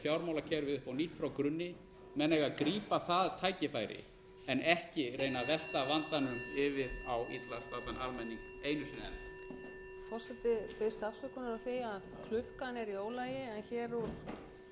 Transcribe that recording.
fjármálakerfið upp á nýtt frá grunni menn eiga að grípa það tækifæri en ekki reyna að velta vandanum yfir á illa staddan almenning einu sinni enn